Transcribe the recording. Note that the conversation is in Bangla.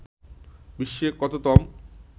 বিশ্বে কততম